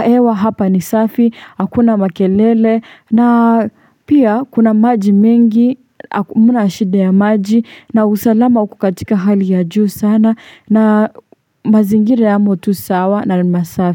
hewa hapa ni safi. Hakuna makelele. Na pia kuna maji mengi. Hamna shida ya maji. Na usalama uko katika hali ya juu sana na mazingira yamo tu sawa na masafi.